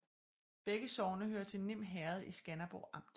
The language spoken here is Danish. Begge sogne hørte til Nim Herred i Skanderborg Amt